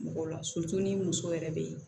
Mɔgɔ la ni muso yɛrɛ be yen